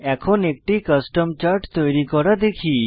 এখন একটি custom chart তৈরি করা শিখি